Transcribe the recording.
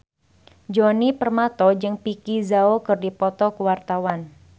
Djoni Permato jeung Vicki Zao keur dipoto ku wartawan